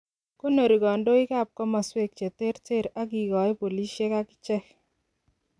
Goonorii kondoik ab komoswek cheterter agigoi polisiek agicheek.